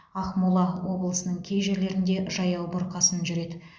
ақмола облысының кей жерлерінде жаяу бұрқасын жүреді